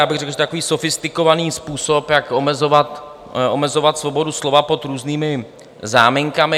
Já bych řekl, že je to takový sofistikovaný způsob, jak omezovat svobodu slova pod různými záminkami.